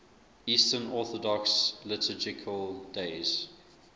eastern orthodox liturgical days